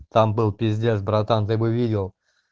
там был пиздец братан ты бы видел